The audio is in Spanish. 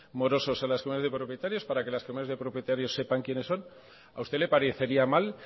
morosos a las comunidades de propietarios para que las comunidades de propietarios sepan quiénes son a usted le parecería mal